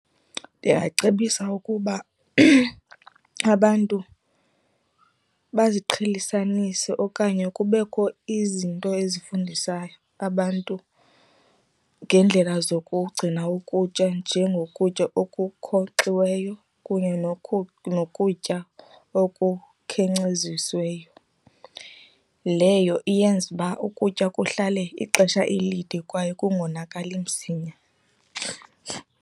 Ndingacebisa ukuba abantu baziqhelisanise okanye kubekho izinto ezifundisa abantu ngeendlela zokugcina ukutya njengokutya okunkonxiweyo kunye nokutya okukhenkcezisiweyo. Leyo iyenza uba ukutya kuhlale ixesha elide kwaye kungonakali msinya.